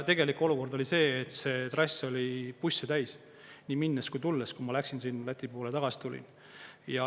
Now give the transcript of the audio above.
Tegelik olukord oli see, et see trass oli busse täis, nii minnes kui tulles, kui ma läksin sinna Läti poole ja tagasi tulin.